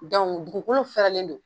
dugukolo fɛrɛlen don.